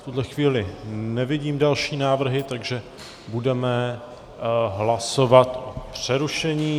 V tuto chvíli nevidím další návrhy, takže budeme hlasovat o přerušení.